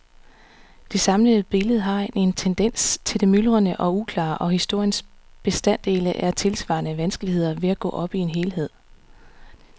Det samlede billede har en tendens til det myldrende og uklare, og historiens bestanddele har tilsvarende vanskeligheder ved at gå op i en helhed.